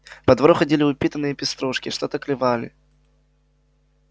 по двору ходили упитанные пеструшки что-то клевали